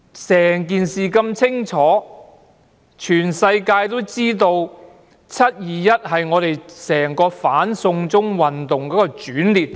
整件事十分清楚，全世界皆知道"七二一"事件是整場"反送中"運動的轉捩點。